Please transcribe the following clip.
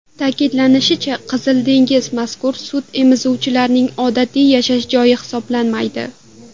Ta’kidlanishicha, Qizil dengiz mazkur sutemizuvchining odatiy yashash joyi hisoblanmaydi.